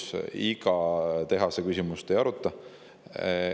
Valitsus iga tehase küsimust ei aruta.